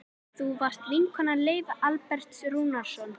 Þú varst vinkona Leifs Alberts Rúnarssonar.